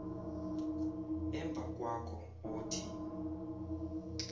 emva kwakho othi